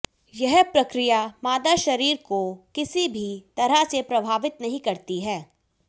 यह प्रक्रिया मादा शरीर को किसी भी तरह से प्रभावित नहीं करती है